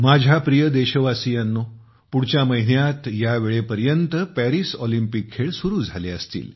माझ्या प्रिय देशवासियांनो पुढच्या महिन्यात यावेळेपर्यंत पॅरिस ऑलिम्पिक सुरू झाले असतील